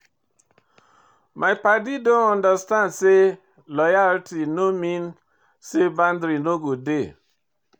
My paddy dem understand sey loyalty no mean sey boundary no go dey.